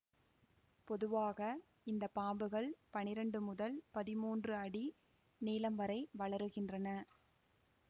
பொதுவாக இந்த பாம்புகள் பனிரெண்டு முதல் பதிமூன்று அடி நீளம் வரை வளருகின்றன